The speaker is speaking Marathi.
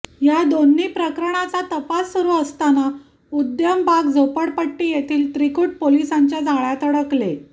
या दोन्ही प्रकरणांचा तपास सुरु असताना उद्यमबाग झोपडपट्टी येथील त्रिकुट पोलिसांच्या जाळय़ात अडकले